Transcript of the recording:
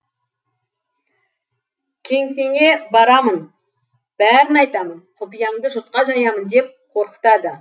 кеңсеңе барамын бәрін айтамын құпияңды жұртқа жаямын деп қорқытады